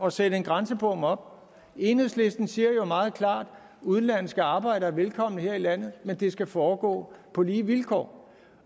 at sætte en grænsebom op enhedslisten siger jo meget klart udenlandske arbejdere er velkomne her i landet men det skal foregå på lige vilkår